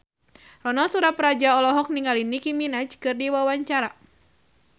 Ronal Surapradja olohok ningali Nicky Minaj keur diwawancara